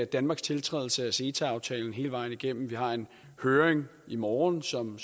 danmarks tiltrædelse af ceta aftalen hele vejen igennem vi har en høring i morgen som